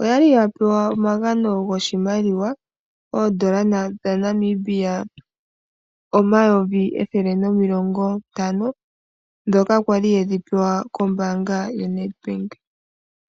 oyali yapewa omagano goshimaliwa oodola dhaNamibia omayovi ethele nomilongo ntano. Ndhoka kwali yedhi pewa koombaanga yedhina Nedbank.